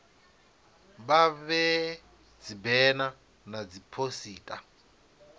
vha vhee dzibena na dziphosita